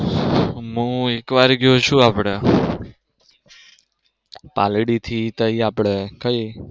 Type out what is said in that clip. હું એકવાર ગયો છું આપડે પાલડી થી તાઈ આપડે કઈ?